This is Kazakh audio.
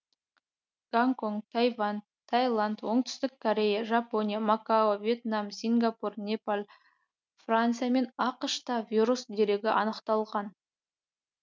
гонконг тайвань тайланд оңтүстік корея жапония макао вьетнам сингапур непал франция мен ақш та вирус дерегі анықталған